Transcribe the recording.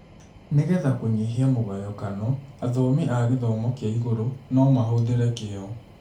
Nĩ getha kũnyihia mũgayokano, athomi a gĩthomo kĩa igũrũ no mahũthĩre kĩyo.